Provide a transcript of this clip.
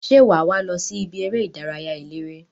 Se waa wo losi ibi ere idaraya elere?